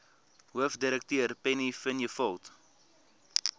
hoofdirekteur penny vinjevold